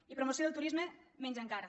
i promoció del turisme menys encara